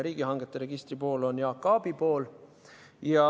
Riigihangete registri pool on Jaak Aabi pool.